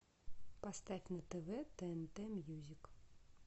поставь на тв тнт мьюзик